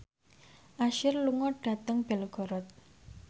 Usher lunga dhateng Belgorod